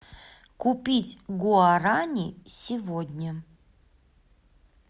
купить гуарани сегодня